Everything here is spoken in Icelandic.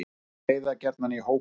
Úlfar veiða gjarnan í hópum.